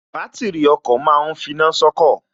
Bátìrì ọkọ̀ ma ń finá sọ́kọ̀